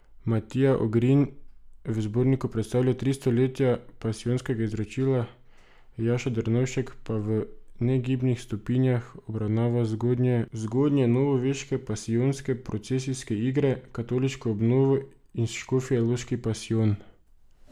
Matija Ogrin v zborniku predstavlja Tri stoletja pasijonskega izročila, Jaša Drnovšek pa V negibnih stopinjah obravnava zgodnjenovoveške pasijonske procesijske igre, katoliško obnovo in Škofjeloški pasijon.